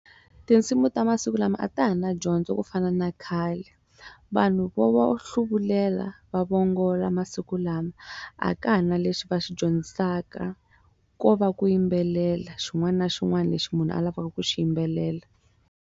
Tinsimu ta masiku lama a ta ha na dyondzo ku fana na khale vanhu vo vi hluvulela va va vongola masiku lama a ka ha na lexi va xi dyondzisaka ko va ku yimbelela xin'wana na xin'wana lexi munhu a lavaka ku xi yimbelela.